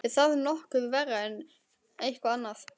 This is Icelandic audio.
Er það nokkuð verra en hvað annað?